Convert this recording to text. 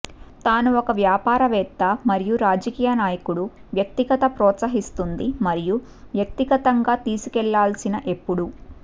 తాను ఒక వ్యాపారవేత్త మరియు రాజకీయనాయకుడు వ్యక్తిగత ప్రోత్సహిస్తుంది మరియు వ్యక్తిగతంగా తీసుకెళ్లాల్సిన ఎప్పుడూ